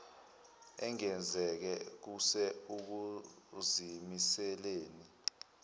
engenzeke kuse ukuzimiseleni